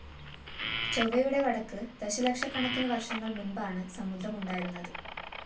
ചൊവ്വയുടെ വടക്ക് ദശലക്ഷക്കണക്കിന് വര്‍ഷങ്ങള്‍ മുന്‍പാണ് സമുദ്രം ഉണ്ടായിരുന്നത്